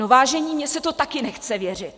No vážení, mně se to taky nechce věřit.